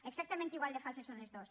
exactament igual de falses són totes dos